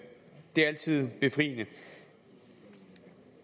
er altid befriende